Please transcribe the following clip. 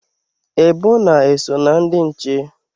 Ebona eso na ndị nche?